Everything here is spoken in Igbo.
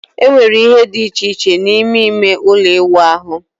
Enwere ihe dị iche iche n'ime ime ụlọ ịwụ ahụ